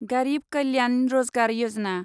गारिब कल्यान रजगार यजना